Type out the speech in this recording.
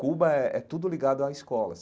Cuba é é tudo ligado à escola.